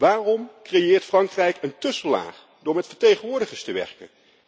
Waarom creëert Frankrijk een tussenlaag door met vertegenwoordigers te werken?